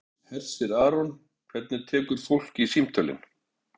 Hersir Aron: Hvernig tekur fólk í símtölin?